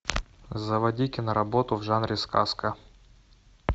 заводи киноработу в жанре сказка